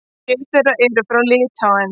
Sjö þeirra eru frá Litháen.